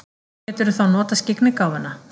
Geturðu þá notað skyggnigáfuna?